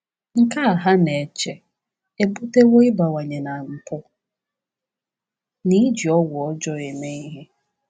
Nke a, ha na-eche, ebutewo ịbawanye na mpụ na iji ọgwụ ọjọọ eme ihe.